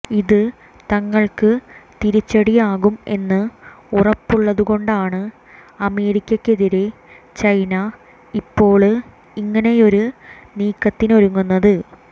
ഇത് തങ്ങള്ക്ക് തിരിച്ചടിയാകും എന്ന് ഉറപ്പുള്ളതുകൊണ്ടാണ് അമേരിക്കക്കെതിരെ ചൈന ഇപ്പോള് ഇങ്ങനെയൊരു നീക്കതിനൊരുങ്ങുന്നത്